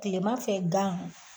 Timanfɛ gan